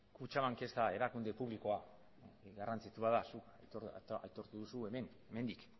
kutxabank ez da erakunde publikoa garrantzitsua zuk aitortu duzu hemen hemendik